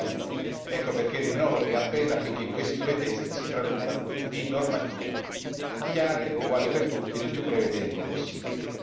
2009. Ecco perché rinnovo il mio appello affinché questi due testi si traducano in normative chiare e uguali per tutti nel più breve tempo possibile.